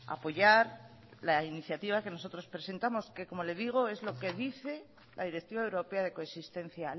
apoyar la iniciativa que nosotros presentamos que como le digo es lo que dice la directiva europea de coexistencia